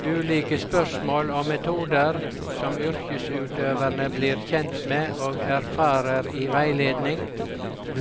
Ulike spørsmål og metoder som yrkesutøverne blir kjent med og erfarer i veiledning,